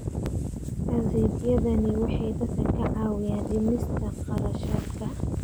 Adeegyadani waxay dadka ka caawiyaan dhimista kharashaadka.